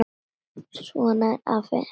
Svona er afi.